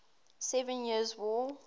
seven years war